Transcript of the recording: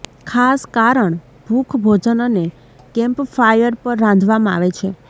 ખાસ કારણ ભૂખ ભોજન એક કેમ્પફાયર પર રાંધવામાં આવે છે